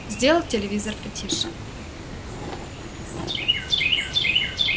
сделал телевизор потише